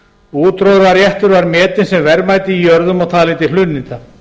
útróðraréttur var metinn sem verðmæti í jörðum og talinn til hlunninda